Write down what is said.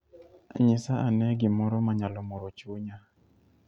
Nyisa ane gimoro manyalo moro chunya.